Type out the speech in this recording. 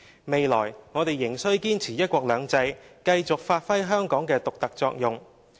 未來，我們仍需堅持'一國兩制'，繼續發揮香港的獨特作用。